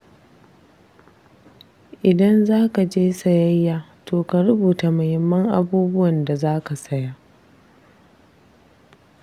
Idan zaka je kasuwa sayayya to ka rubuta muhimman abubuwan da za ka saya.